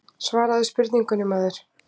Svaraðu spurningunni maður.